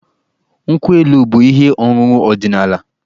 Nkwụ elu bụ ihe ọṅụṅụ ọdịnaala.